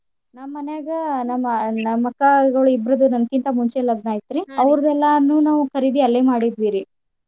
ನಮ್ ಮನ್ಯಾಗ ನಮ್ ನಮ್ ಅಕ್ಕಾ ಗುಳ್ ಇಬ್ಬರ್ದು ನನ್ಕಿಂತ ಮುಂಚೆ ಲಗ್ನ ಐತ್ರಿ ಅವ್ರದ್ ಎಲ್ಲಾ ನೂ ನಾವ್ ಖರೀದಿ ಅಲ್ಲೆ ಮಾಡಿದ್ವಿ ರೀ.